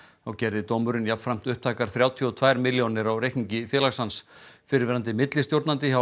þá gerði dómurinn jafnframt upptækar þrjátíu og tvær milljónir á reikningi félags hans fyrrverandi millistjórnandi hjá